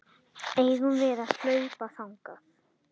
Eigum við að hlaupa þangað?